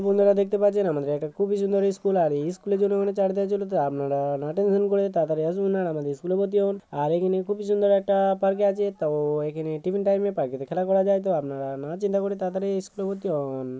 বন্ধুরা দেখতে পাচ্ছেন আমাদের একটা খুবি সুন্দর ইস্কুল আর এ ইস্কুল - এর জন্য আপনারা না টেনশন করে তারা তারি আসুন এবং আমাদের স্কুল -এ ভর্তি হন। আর এখেনে খুবই সুন্দর একটা পার্ক আছে তো এখেনে টিফিন টাইম -এ পার্ক - কে তে খেলা করা যায়। তো আপনারা না চিন্তা করে তারাতারি ইস্কুল - এ তে ভর্তি হন ।